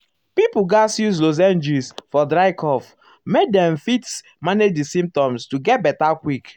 ah doctors ah and nurses nurses suppose dey ask respectful questions about spiritual matter.